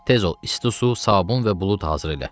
Tez ol, isti su, sabun və bulud hazır elə.